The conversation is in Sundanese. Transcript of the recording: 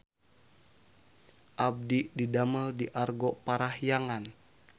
Abdi didamel di Argo Parahyangan